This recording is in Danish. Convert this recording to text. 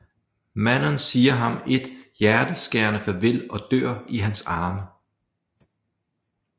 Manon siger ham et hjerteskærende farvel og dør i hans arme